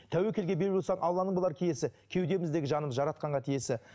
тәуекелге бел бусақ алланың болар киесі кеудеміздегі жаным жаратқанға тиесі